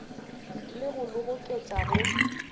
le go le goketša go